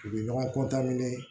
U bɛ ɲɔgɔn